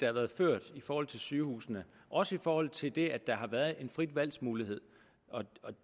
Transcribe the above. har været ført i forhold til sygehusene også i forhold til det at der har været en frit valg mulighed og